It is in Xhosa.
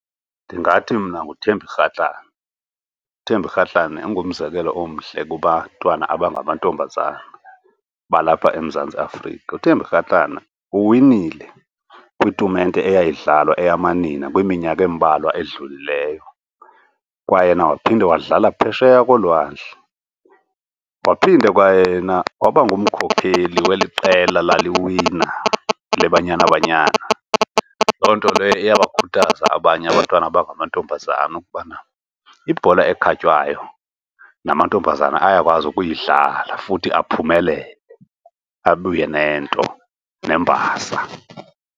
Ndingathi mna nguThembi Kgatlana. UThembi Kgatlana ungumzekelo omhle kubantwana abangamantombazana balapha eMzantsi Afrika. UThembi Kgatlana uwinile kwitumente eyayidlala eyamanina kwiminyaka embalwa edlulileyo, kwayena waphinde wadlala phesheya kolwandle. Waphinde kwayena waba ngumkhokheli weli qela laliwina leBanyana Banyana. Loo nto ke iyabakhuthaza abanye abantwana abangamantombazana ukubana ibhola ekhatywayo namantombazana ayakwazi ukuyidlala futhi aphumelele abuye nento, nembasa.